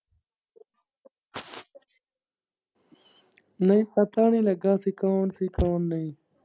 ਨਹੀਂ ਚਾਚਾ ਹੁਣੀ ਲੱਗਾ ਦੁਕਾਨ ਤੇ ਸਿਖਾਣ ਨੂੰ।